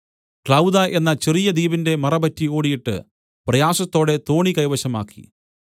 Clauda എന്ന ചെറിയ ദ്വീപിന്റെ മറപറ്റി ഓടീട്ട് പ്രയാസത്തോടെ തോണി കൈവശമാക്കി